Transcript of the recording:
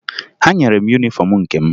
Ha nyere m yunifọmụ nke m